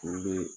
Furu be